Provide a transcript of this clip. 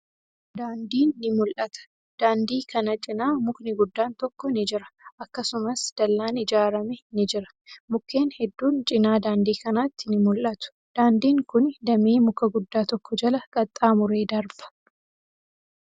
Daandiin ni mul'ata. Daandii kana cinaa mukni guddaan tokko ni jira. Akkasumas, dallaan ijaarame ni jira. Mukkeen hedduun cinaa daandii kanaatti ni mul'atu. Daandiin kuni damee muka guddaa tokko jala qaxxaamuree darba.